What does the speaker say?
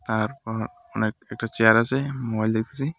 তারপর অনেক একটা চেয়ার আছে মোবাইল দেখতেছি .